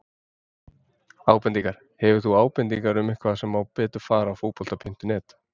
Ábendingar: Hefur þú ábendingar um eitthvað sem má betur fara á Fótbolta.net?